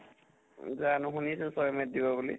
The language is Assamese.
জানো শুনিছো ছয় may ত দিব বুলি